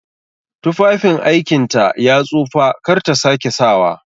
Tufafin aikinta ya tsufa kar ta sake sawa!